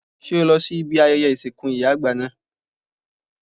Ṣé o lọ sí ibi ayẹyẹ ìsìnkú ìyá àgbà náà?